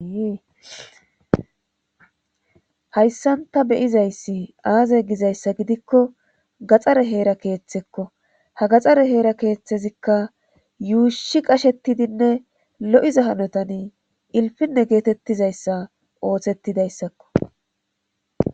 Hayssanta beyizayssi aaza gizayssa gidikko gaxxare heera keeththekko ha gaxare heera keeththezikka yuushi qashetidinne lo7iza hanotani ilfinne geetettizayssa ooththettidayssakko.